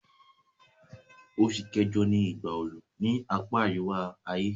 Osù kẹ́jọ ni ìgbà oru ni apá àríwá-ayé